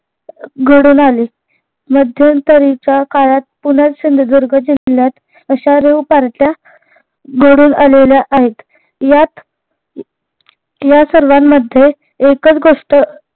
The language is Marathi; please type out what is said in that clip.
घडून आली. मध्यंतरीच्या काळात पुनर्र सिंधुदुर्ग जिल्ह्यात अश्या rev पार्ट्या घडून आलेल्या आहेत. यात या सर्वांमध्ये एकच गोष्ट